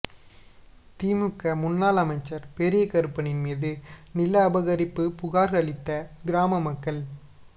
திமுக முன்னாள் அமைச்சர் பெரியகருப்பனின் மீது நிலஅபகரிப்பு புகார் அளித்த கிராம மக்கள்